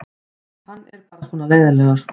Hann er bara svona leiðinlegur.